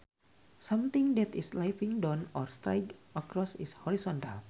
Something that is lying down or straight across is horizontal